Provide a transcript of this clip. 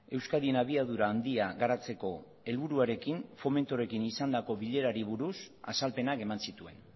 euskadin abiadura handia garatzeko helburuarekin fomentorekin izandako bilerari buruz azalpenak eman zituen